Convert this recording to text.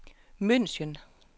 München